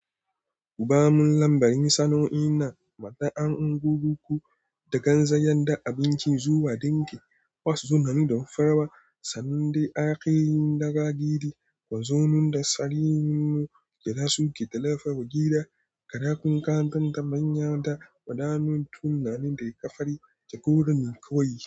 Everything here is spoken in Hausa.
Kuba mun lambarin sannu'in na matsanin kuruku da ganzan yadda abinci zuwa dinki, wasu sun haɗu don farawa, sannan dai aƙirin daga gidi, wanzon da tsarin yinmu, ƙirasu ƙetalafa, gida, kaɗakun kantan da manyan da ƙananan tunanin da riƙafari, jagora ne kawai.